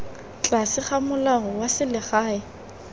tlase ga molao wa selegae